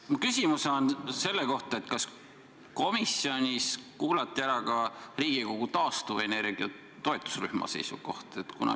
Mu küsimus on selle kohta, kas komisjonis kuulati ära ka Riigikogu taastuvenergia toetusrühma seisukoht.